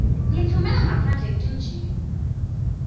titfumela ngaphandle tintje